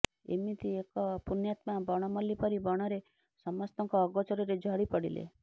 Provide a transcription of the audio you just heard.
ଏମିତି ଏକ ପୁଣ୍ୟତ୍ମା ବଣ ମଲ୍ଲୀ ପରି ବଣରେ ସମସ୍ତଙ୍କ ଅଗୋଚରରେ ଝଡି ପଡିଲେ